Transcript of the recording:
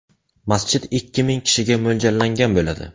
Masjid ikki ming kishiga mo‘ljallangan bo‘ladi.